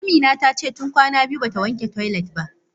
Amina tace tun kwana biyu bata wanke toilet ba.